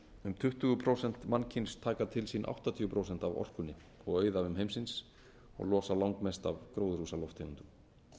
um tuttugu prósent mannkyns taka til sín áttatíu prósent af orkunni og auðæfum heimsins og losa langmest af gróðurhúsalofttegundum